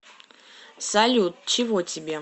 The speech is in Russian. салют чего тебе